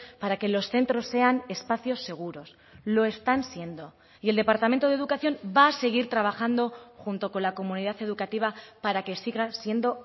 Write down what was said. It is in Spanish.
para que los centros sean espacios seguros lo están siendo y el departamento de educación va a seguir trabajando junto con la comunidad educativa para que siga siendo